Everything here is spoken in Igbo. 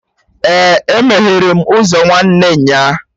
Ee, E meghere m ụzọ nwanne nya